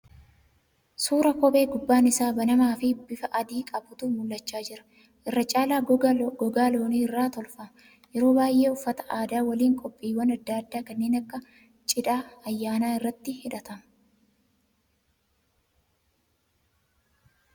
Suura kophee gubbaan isaa banamaa fi bifa adii qabuutu mul'achaa jira. Irra caala gogaa loonii irraa tolfama. Yeroo baay'ee uffata aadaa waliin qophiiwwan adda addaa kanneen akka cidhaa ayyaanaa irratti hidhatama.